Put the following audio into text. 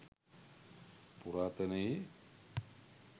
පුරාතනයේ